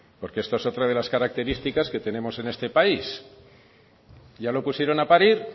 porque esto es otra de las características que tenemos en este país ya lo pusieron a parir